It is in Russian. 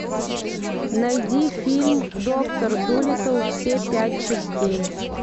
найди фильм доктор дулиттл все пять частей